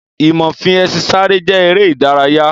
Ìmọ fi ẹṣin sáré jẹ́ ère ìdárayá.